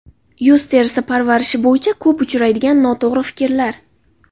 Yuz terisi parvarishi bo‘yicha ko‘p uchraydigan noto‘g‘ri fikrlar.